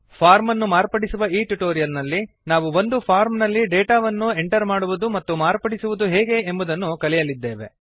form ಅನ್ನು ಮಾರ್ಪಡಿಸುವ ಈ ಟ್ಯುಟೋರಿಯಲ್ ನಲ್ಲಿ ನಾವು ಒಂದು ಫಾರ್ಮ್ ನಲ್ಲಿ ಡೇಟಾ ಅನ್ನು ಎಂಟರ್ ಮಾಡುವುದು ಮತ್ತು ಮಾರ್ಪಡಿಸುವುದು ಹೇಗೆ ಎಂಬುದನ್ನು ಕಲಿಯಲಿದ್ದೇವೆ